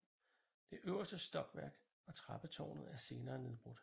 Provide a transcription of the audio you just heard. Det øverste stokværk og trappetårnet er senere nedbrudt